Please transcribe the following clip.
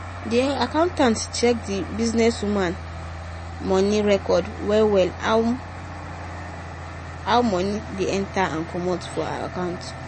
di accountant check the businesswoman money records well — well how money dey enter and commot for account